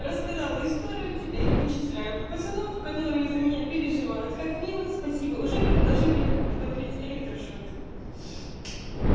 рассказала историю теперь вычисляем пацанов которые за меня переживают как мило спасибо уже предложили подарить электрошокер